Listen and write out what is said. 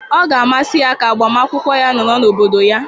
Ọ ga-amasị ya ka agbamakwụkwọ ya nọrọ n'obodo ya.